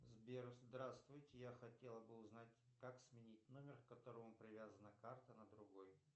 сбер здравствуйте я хотел бы узнать как сменить номер к которому привязана карта на другой